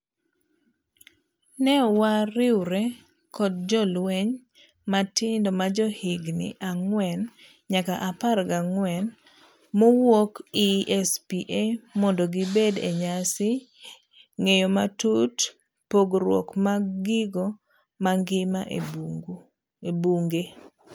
Ne wariwre kod jolueny matindo majohigni ang'wen nyaka apar gang'wen mowuok ESPAmondo gibed e nyasi ng'eyo matut pogruok mag gigo mangima ebunge.